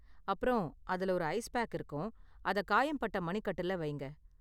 அப்பறம், அதுல ஒரு ஐஸ் பேக் இருக்கும், அத காயம்பட்ட மணிக்கட்டுல வையுங்க.